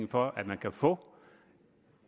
for at man kan få